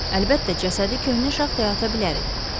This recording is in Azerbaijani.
Əlbəttə, cəsədi köhnə şaxtaya ata bilərik.